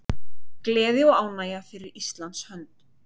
Gleði og ánægja fyrir Íslands hönd